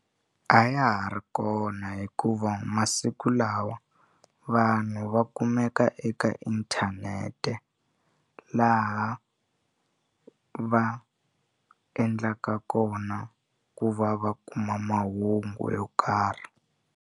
A ya ha ri kona hikuva masiku lawa vanhu va kumeka eka inthanete laha va endlaka kona ku va va kuma mahungu yo karhi.